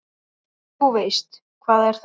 Þú veist, hvað er það?